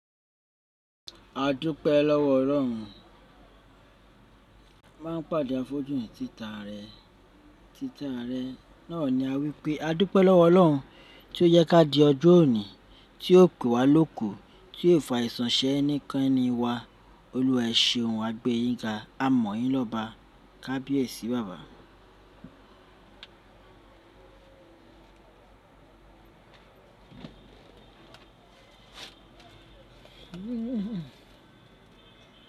A dúpẹ́ lọ́wọ́ Ọlọ́run, máa ń pàdé àfojúìn títa rẹ, títa rẹ náà ni a wípé: A dúpẹ́ lọ́wọ́ Ọlọ́run tí ó yẹ ká di ọjọ́ òní, tí ó pè wá lóko, tí ó fa àìsàn ṣe ẹnìkan ni wa. Olúwa, eṣe ohun à gbé yín ga, a mọ̀ yín lọ́ba, kábíyèsí baba.